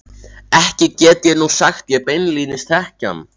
Ekki get ég nú sagt ég beinlínis þekki hann.